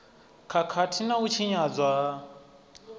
khakhathi na u tshinyadzwa ha